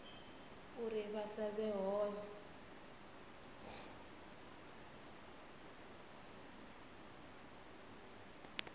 uri vha sa vhe hone